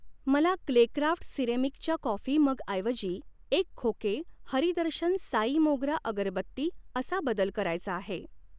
मला क्लेक्राफ्ट सिरेमिकचा कॉफी मगऐवजी एक खोके हरी दर्शन साई मोगरा अगरबत्ती असा बदल करायचा आहे.